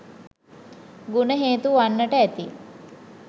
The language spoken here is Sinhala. ගුණ හේතු වන්නට ඇති.